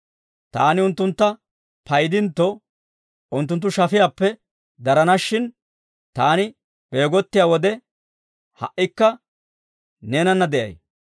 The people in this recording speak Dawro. Taani unttuntta paydintto, unttunttu shafiyaappe darana shin. Taani beegottiyaa wode, ha"ikka neenana de'ay.